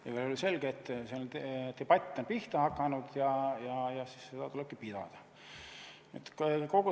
Igal juhul on selge, et see debatt on pihta hakanud ja seda tulebki pidada.